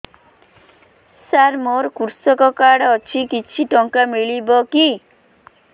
ସାର ମୋର୍ କୃଷକ କାର୍ଡ ଅଛି କିଛି ଟଙ୍କା ମିଳିବ କି